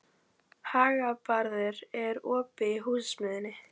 Hagbarður, er opið í Húsasmiðjunni?